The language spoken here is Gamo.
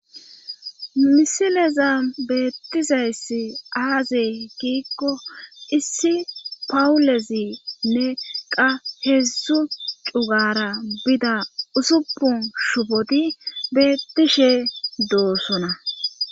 Misileza beettizayssi aazey giikko issi pawulezinne qa heedzdzu cugara bida usupun shupoti bettishe doossona